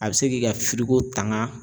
A be se k'i ka firigo tangan